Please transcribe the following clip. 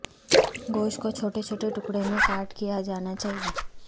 گوشت کو چھوٹے چھوٹے ٹکڑوں میں کاٹ کیا جانا چاہئے